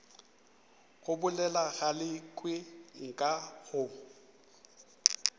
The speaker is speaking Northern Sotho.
go bolela galekwe nka go